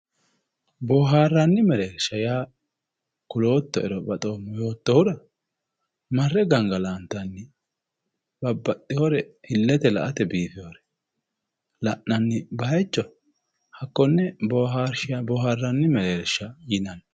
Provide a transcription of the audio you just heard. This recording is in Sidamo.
boohaarranni mereersha yaa kuloottoero baxeemo yoottoehura marre gangalantanni babbaxxeyoore illete la'nanni marre gangalantanni bayiicho konne bohaarranni mereersha yinanni